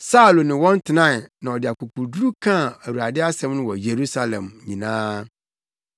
Saulo ne wɔn tenae na ɔde akokoduru kaa Awurade asɛm no wɔ Yerusalem nyinaa.